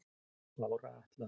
Bára Atla